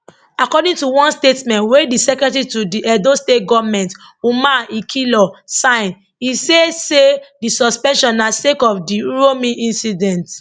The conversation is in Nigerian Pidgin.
according to one statement wey di secretary to di edo state goment umar ikhilor sign e say say di suspension na sake of di uromi incident